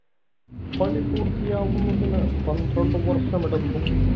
പണിപൂർത്തിയാവുന്നതിന് പന്ത്രണ്ടു വർഷമെടുത്തു.